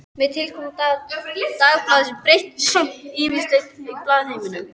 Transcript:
Með tilkomu Dagblaðsins breyttist samt ýmislegt í blaðaheiminum.